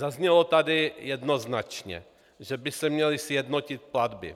Zaznělo tady jednoznačně, že by se měly sjednotit platby.